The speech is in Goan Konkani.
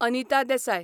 अनीता देसाय